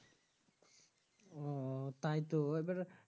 ওও তাই তো এবার